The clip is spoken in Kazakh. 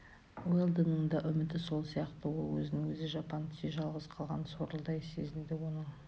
уэлдонның да үміті сол сияқты ол өзін өзі жапан түзде жалғыз қалған сорлыдай сезінді оның